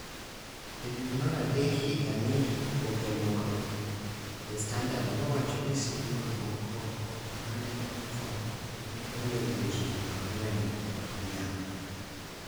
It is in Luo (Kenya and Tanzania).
E dwe mar adek higa ni, oboke moro (The Standard) nowacho ni sibuor moko ma ne otho ne onego ji ang�wen kod dhiang� .